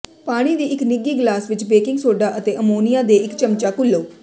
ਪਾਣੀ ਦੀ ਇੱਕ ਨਿੱਘੀ ਗਲਾਸ ਵਿਚ ਬੇਕਿੰਗ ਸੋਡਾ ਅਤੇ ਅਮੋਨੀਆ ਦੇ ਇੱਕ ਚਮਚਾ ਘੁਲੋ